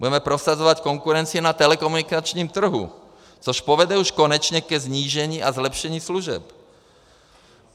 Budeme prosazovat konkurenci na telekomunikačním trhu, což povede už konečně ke snížení a zlepšení služeb.